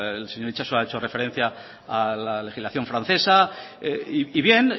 el señor itxaso ha hecho referencia a la legislación francesa y bien